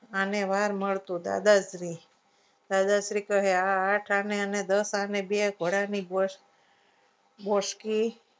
અને વાર મળતું દાદાશ્રી દાદાશ્રી કહે આ અને અને દસ આને બે ઘોડા ની ઘોષ ગોસકી